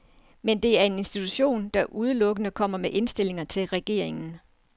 Men det er en institution, der udelukkende kommer med indstillinger til regeringen.